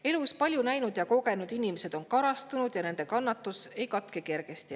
Elus palju näinud ja kogenud inimesed on karastunud ja nende kannatus ei katke kergesti.